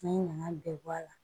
N'an ye na bɛɛ bɔ a la